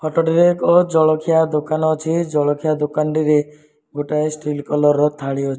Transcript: ଫଟ ଟିରେ ଏକ ଜଳଖିଆ ଦୋକାନ ଅଛି ଜଳଖିଆ ଦୋକାନ ଟିରେ ଗୋଟାଏ ଷ୍ଟିଲ୍ କଲର୍ ର ଥାଳି ଅ --